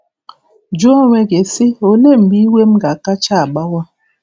Jụọ onwe gị, sị, ‘Olee mgbe iwe m ga-akacha agbawa? '